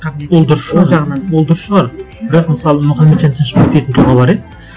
қабілеті ол дұрыс шығар ол дұрыс шығар бірақ мысалы мұхаметжан тынышбаев дейтін тұлға бар иә